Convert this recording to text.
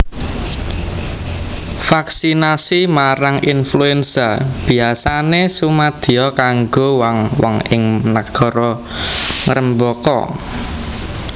Vaksinasi marang influenza biyasané sumadiya kanggo wong wong ing nagara ngrembaka